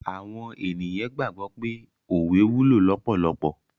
Awon eniyan gbagbo wipe owe wulo lopolopo